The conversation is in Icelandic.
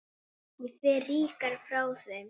Ég fer ríkari frá þeim.